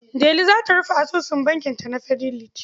Delu za ta rufe asusun bankinta na Fidelity.